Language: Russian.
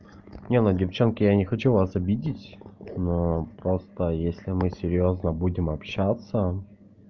нет ну девчонки я не хочу вас обидеть просто если мы серьёзно будем общаться